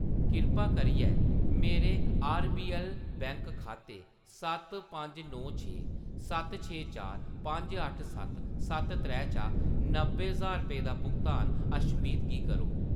कृपा करियै मेरे आरबीऐल्ल बैंक खाते सत्त पंज नौ छे सत्त छे चार पंज अट्ठ सत्त सत्त त्रै चा नब्बै ज्हार रपेऽ दा भुगतान अशमीत गी करो।